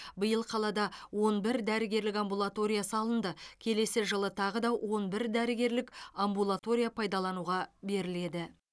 биыл қалада он бір дәрігерлік амбулатория салынды келесі жылы тағы да он бір дәрігерлік амбулатория пайдалануға беріледі